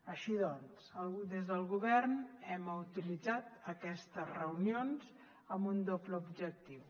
així doncs des del govern hem utilitzat aquestes reunions amb un doble objectiu